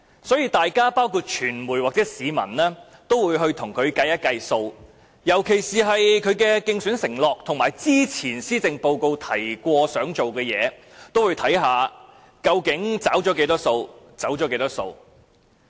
所以，議員、傳媒及市民都會計算一下，尤其是他的競選承諾及他在之前數份施政報告提出的措施，究竟有多少已"走數"，又有多少已"找數"。